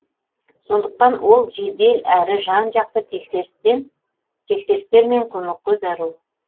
сондықтан ол жедел әрі жан жақты тексерістер мен көмекке зәру